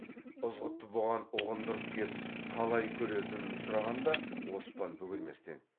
ызғұтты бұған ұғындырып кеп қалай көретінін сұрағанда оспан бөгелместен